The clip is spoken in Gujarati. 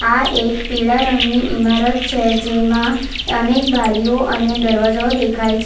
આ એક પીળા રંગની ઇમારત છે જેમાં અનેક બારીઓ અને દરવાજાઓ દેખાય છે.